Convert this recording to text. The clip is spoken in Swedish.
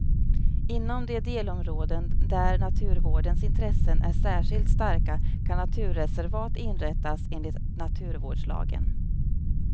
Inom de delområden där naturvårdens intressen är särskilt starka kan naturreservat inrättas enligt naturvårdslagen.